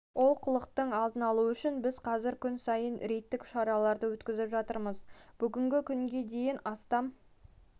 олқылықтың алдын алу үшін біз қазір күн сайын рейдтік шараларды өткізіп жатырмыз бүгінгі күнге дейін астам